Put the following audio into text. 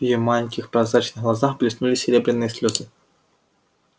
в её маленьких прозрачных глазках блеснули серебряные слезы